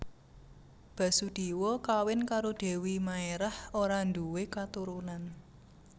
Basudéwa kawin karo Dèwi Maerah ora ndhuwe katurunan